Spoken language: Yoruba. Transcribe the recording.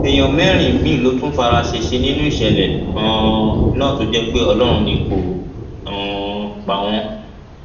èèyàn mẹrin míín ló tún fara ṣẹṣẹ nínú ìṣẹlẹ um náà tó jẹ pé ọlọrun ni kó um pa wọn